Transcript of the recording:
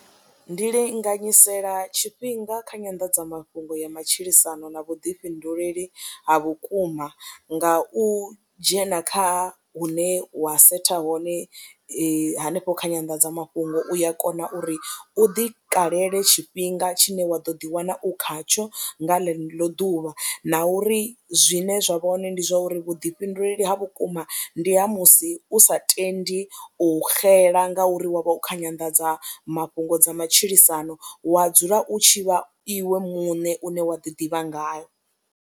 Ndi linganyisela tshifhinga kha nyanḓadzamafhungo ya matshilisano na vhuḓifhinduleli ha vhukuma nga u dzhena kha hune wa setha hone hanefho kha nyanḓadzamafhungo u ya kona uri u ḓikalele tshifhinga tshine wa ḓo ḓiwana u khatsho nga ḽeḽo ḓuvha na uri zwine zwa vha hoṋe ndi zwa uri vhuḓifhinduleli ha vhukuma ndi ha musi u sa tendi u xela ngauri wa vha u kha nyanḓadzamafhungo dza matshilisano, wa dzula u tshi vha iwe muṋe une wa ḓi ḓivha ngayo.